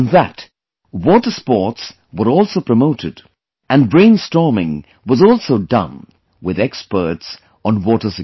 In that, water sports were also promoted and brainstorming was also done with experts on water security